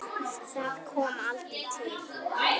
Hvað binst við nafn?